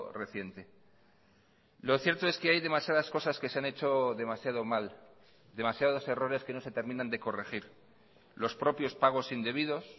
reciente lo cierto es que hay demasiadas cosas que se han hecho demasiado mal demasiados errores que no se terminan de corregir los propios pagos indebidos